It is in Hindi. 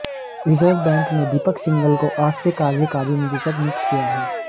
रिजर्व बैंक ने दीपक सिंघल को आज से कार्यकारी निदेशक नियुक्त किया है